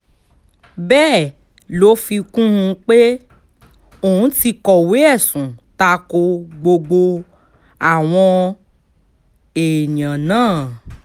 bẹ́ẹ̀ ló fi kún un pé òun ti kọ̀wé ẹ̀sùn ta ko gbogbo àwọn èèyàn náà